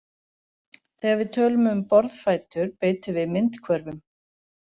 Þegar við tölum um borðfætur beitum við myndhvörfum.